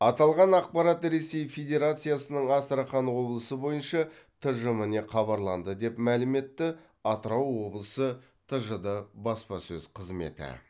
аталған ақпарат ресей федерациясының астрахан облысы бойынша тжм не хабарланды деп мәлім етті атырау облысы тжд баспасөз қызметі